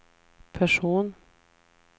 person